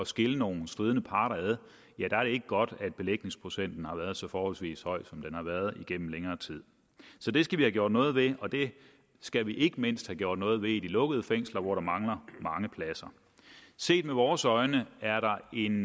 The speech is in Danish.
skille nogle stridende parter ad er det ikke godt at belægningsprocenten har været så forholdsvis høj som den har været igennem længere tid så det skal vi have gjort noget ved og det skal vi ikke mindst have gjort noget ved i de lukkede fængsler hvor der mangler mange pladser set med vores øjne er der en